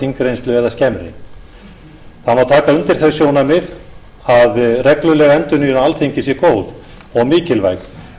þingreynslu eða skemmri það má taka undir þau sjónarmið að regluleg endurnýjun á alþingi sé góð og mikilvæg en hitt skiptir